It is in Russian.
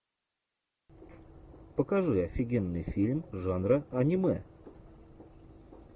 покажи офигенный фильм жанра аниме